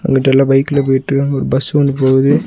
அங்குட்டு எல்லா பைக்ல போயிட்ருக்காங்க ஒரு பஸ் ஒன்னு போவுது.